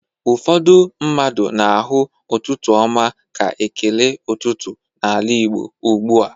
Ụfọdụ mmadụ na-ahụ ụtụtụ ọma ka ekele ụtụtụ n'ala Igbo ugbu a.